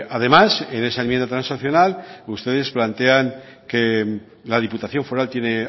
además en esa enmienda transaccional ustedes plantean que la diputación foral tiene